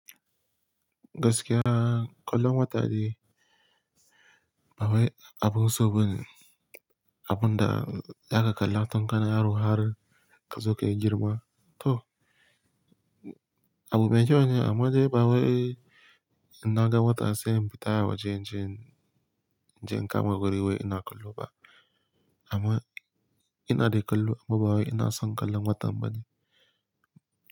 Gaskiya, kallon wata dai bawai abun so bane, abun da ya zaka kalla mutun kana yaro har ka zo kai girma. To, abu mai kyau ne amma dai bawai inna ga watan sai in fita waje in je, in je in kama guri wai ina kallo ba. Amma ina dai kallo amma bawai ina son kallon watan bane.